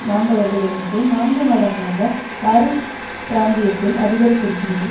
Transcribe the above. மாண்டவர்கள் எண்ணிக்கை நான்கு மடங்காக பாரீஸ் பிராந்தியத்தில் அதிகரித்திருக்கிறது